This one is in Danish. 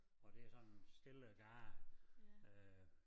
Og det er sådan en stille gade øh